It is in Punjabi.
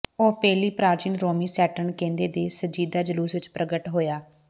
ਉਹ ਪਹਿਲੀ ਪ੍ਰਾਚੀਨ ਰੋਮੀ ਸੈਟਰਨ ਕਹਿੰਦੇ ਦੇ ਸੰਜੀਦਾ ਜਲੂਸ ਵਿੱਚ ਪ੍ਰਗਟ ਹੋਇਆ